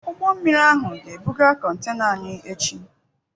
Ụgbọ mmiri ahụ ga-ebuga contena anyị echi.